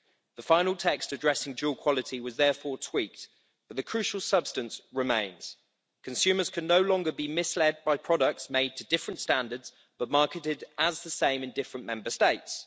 The final text addressing dual quality was therefore tweaked, but the crucial substance remains consumers can no longer be misled by products made to different standards but marketed as the same in different Member States.